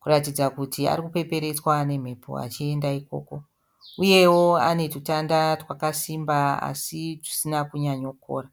kuratidza kuti arikupeperetsva nemhepo achienda ikoko. Uyewo anetutanda twakasimba asi tusina kunyanyokora.